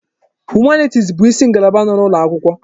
Humanitis bụ isi ngalaba n'ụlọ akwụkwọ.